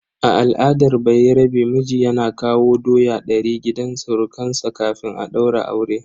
A al'adar bayarabe, miji yana kawo doya ɗari gidan surukansa kafin a daura aure.